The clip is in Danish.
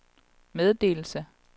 meddelelse